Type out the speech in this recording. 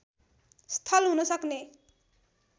स्थल हुन सक्ने